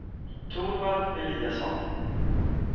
Torvald Eliasson